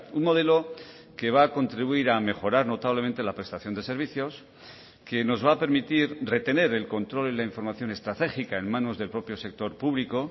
un modelo que va a contribuir a mejorar notablemente la prestación de servicios que nos va a permitir retener el control y la información estratégica en manos del propio sector público